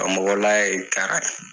mɔgɔla ye kara ye.